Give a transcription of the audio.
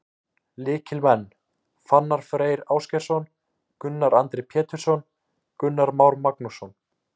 Lykilmenn: Fannar Freyr Ásgeirsson, Gunnar Andri Pétursson, Gunnar Már Magnússon.